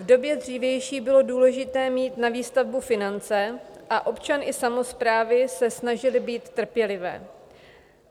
V době dřívější bylo důležité mít na výstavbu finance a občan i samosprávy se snažily být trpělivé.